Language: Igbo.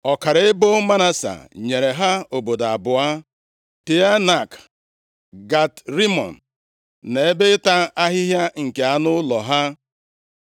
Ọkara ebo Manase nyere ha obodo abụọ, Teanak, Gat Rimọn na ebe ịta ahịhịa nke anụ ụlọ ha.